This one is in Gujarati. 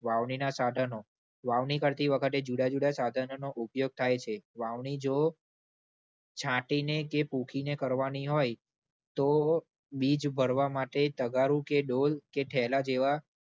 વાવણીના સાધનો. વાવણી કરતી વખતે જુદા જુદા સાધનોનો ઉપયોગ થાય છે. વાવણી જો છાંટીને કે પુંખીને કરવાની હોય તો બીજ ભરવા માટે તગારું કે ડોલ કે થૈલા જેવા